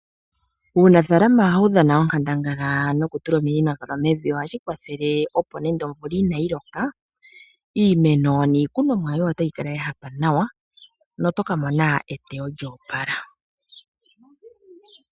Uunafaalama ohawu dhana onkandangala nokutula ominino mevi. Ohashi kwathele opo nando omvula inayi loka, iimeno niikunomwa yoye otayi kala ya hapa nawa noto ka mona eteyo lyo opala.